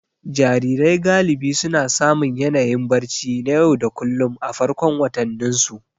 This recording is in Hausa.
Jarirai galibi suna samun yanayin barci na yau da kullun a farkon watanninsu.